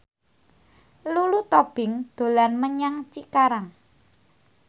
Lulu Tobing dolan menyang Cikarang